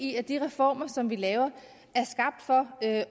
i at de reformer som vi laver er skabt for at